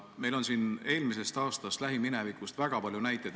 Meil on siin eelmisest aastast, lähiminevikust väga palju näiteid.